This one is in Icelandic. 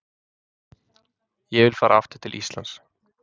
Ég vil fara aftur til Íslands.